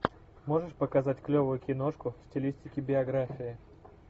можешь показать клевую киношку в стилистике биография